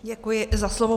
Děkuji za slovo.